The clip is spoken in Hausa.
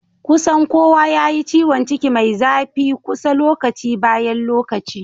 kusan kowa yayi ciwanciki Mai zafi kusa lokaci bayan lokaci